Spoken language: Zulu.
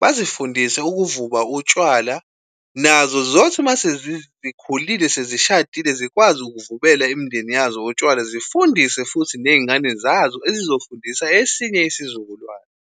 bazifundise ukuvuba utshwala nazo ziyothi uma sezikhulile sezishadile, zikwazi ukuvubela imindeni yazo utshwala zifundise futhi nezingane zazo ezizofundisa esinye isizukulwane.